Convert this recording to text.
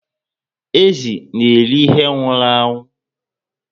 Ezi na eri ihe nwụrụ anwụ